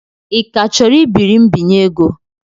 Ị ka chọrọ ibiri mbinye ego?